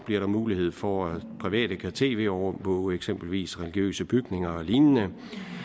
bliver der mulighed for at private kan tv overvåge eksempelvis religiøse bygninger og lignende